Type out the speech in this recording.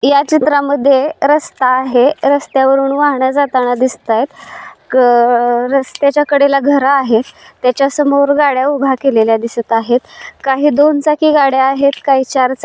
या चित्र मध्ये रस्ता आहे. रस्त्यावरुन वाहने जातांना दिसतायेत. क रस्त्याच्या कडेला घर आहे. त्याच्या समोर गाड्या उभ्या केलेल्या दिसत आहेत. काही दोन चाकी गाड्या आहेत काही चार चा--